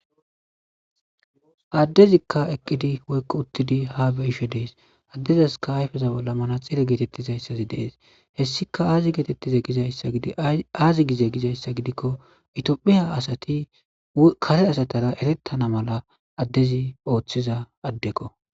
adezikka eqidi woyiko utiddi ha beyishe deyesiadezasika ayife bolla manaxire getetidayis deyesi hessika azi gide gidiko etophiya asati kare asatara eretana mala adezi othiza adekko .